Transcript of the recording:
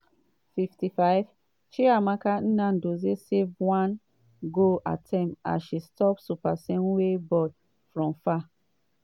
55' chiamaka nnadozie save one goal attempt as she stop seopesenwe ball from far.